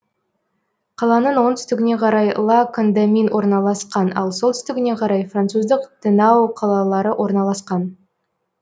қаланың оңтүстігіне қарай ла кондамин орналасқан ал солтүстігіне қарай француздық тенао қалалары орналасқан